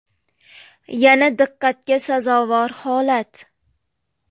Yana diqqatga sazovor holat.